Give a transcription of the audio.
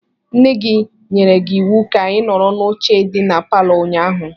Nne gị nyere gị iwu ka ị nọrọ n'oche dị na palọ ụnyaahụ.